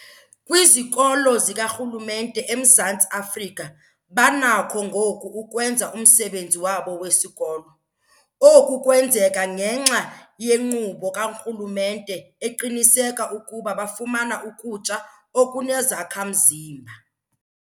Kwizikolo zikarhulumente eMzantsi Afrika banakho ngoku ukwenza umsebenzi wabo wesikolo. Oku kwenzeka ngenxa yenkqubo karhulumente eqinisekisa ukuba bafumana ukutya okunezakha-mzimba.